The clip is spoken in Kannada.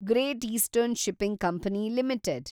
great eastern shipping company limited